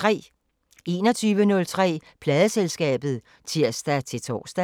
21:03: Pladeselskabet (tir-tor)